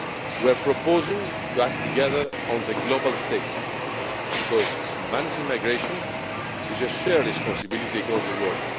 We are proposing to act together on the global stage because managing migration is a shared responsibility across the world.